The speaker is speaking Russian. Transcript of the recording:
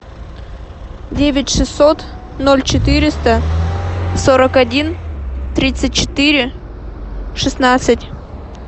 девять шестьсот ноль четыреста сорок один тридцать четыре шестнадцать